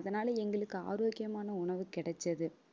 அதனால எங்களுக்கு ஆரோக்கியமான உணவு கிடைச்சது